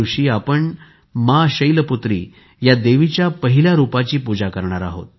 या दिवशी आपण माँ शैलपुत्री या देवीच्या पहिल्या रूपाची पूजा करणार